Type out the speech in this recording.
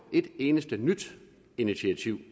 et eneste nyt initiativ